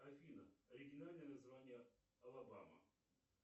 афина оригинальное название алабама